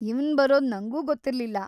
ಇವ್ನ್ ಬರೋದು ನಂಗೂ ಗೊತ್ತಿರ್ಲಿಲ್ಲ.